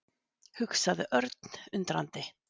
hugsaði Örn undrandi.